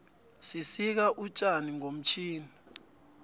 sisika utjani ngomtjhini